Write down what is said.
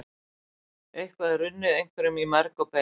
Eitthvað er runnið einhverjum í merg og bein